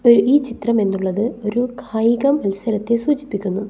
ഒരു ഈ ചിത്രം എന്നുള്ളത് ഒരു കായിക മത്സരത്തെ സൂചിപ്പിക്കുന്നു.